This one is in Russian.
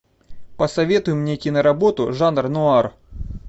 посоветуй мне киноработу жанр нуар